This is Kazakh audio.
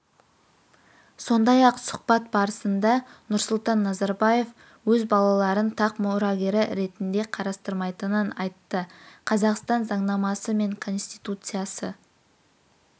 сондай-ақ сұхбат барысында нұрсұлтан назарбаев өз балаларын тақ мұрагері ретінде қарастырмайтынын айтты қазақстан заңнамасы мен конституциясы